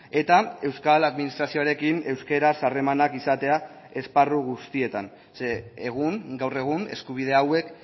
eta euskal administrazioarekin euskaraz harremanak izatea esparru guztietan zeren egun gaur egun eskubide hauek